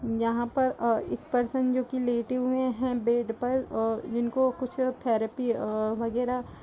यहां पर अ एक पर्सन जो की लेटे हुए हैं बेड पर अ जिनको कुछ थेरेपी अ वगैरा--